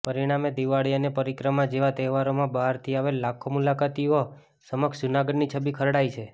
પરિણામે દિવાળી અને પરિક્રમા જેવા તહેવારોમાં બહારથી આવેલ લાખો મુલાકાતીઓ સમક્ષ જૂનાગઢની છબી ખરડાઇ છે